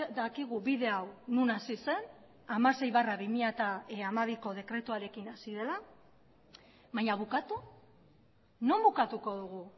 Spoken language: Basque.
dakigu bide hau non hasi zen hamasei barra bi mila hamabiko dekretuarekin hasi dela baina bukatu non bukatuko dugu